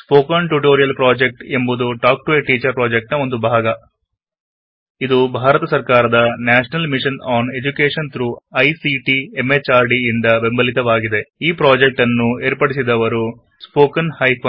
spoken tutorial project ಎಂಬುದು talk to a teacher ನ ಒಂದು ಭಾಗ ಇದನ್ನು ನ್ಯಾಷನಲ್ ಮಿಶನ್ ಆನ್ ಎಜ್ಯುಕೆಶನ್ ಎಂದು ಐಸಿಟಿ ಎಂಎಚಆರ್ಡಿ ಭಾರತ ಸರ್ಕಾರ ದ ಸಹಕಾರದೊಂದಿಗೆ ನಡೆಸಲಾಗುತ್ತಿದೆ ಈ ಪ್ರಾಜೆಕ್ಟ್ ಅನ್ನು ಏರ್ಪಡಿಸಿದವರು httpspoken tutorialorg